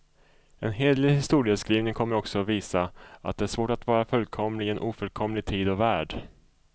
En hederlig historieskrivning kommer också visa, att det är svårt att vara fullkomlig i en ofullkomlig tid och värld.